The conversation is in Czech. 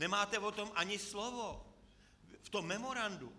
Nemáte o tom ani slovo v tom memorandu.